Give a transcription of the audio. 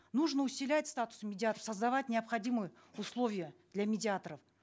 нужно статус медиаторов создавать необходимые условия для медиаторов